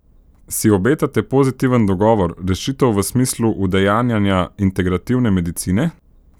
Si obetate pozitiven dogovor, rešitev v smislu udejanjanja integrativne medicine?